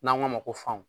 N'an k'a ma ko fanw